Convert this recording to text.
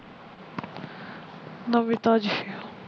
ਨਵੀ ਤਾਜੀ